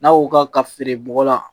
N'a y'o ka feere bɔgɔ la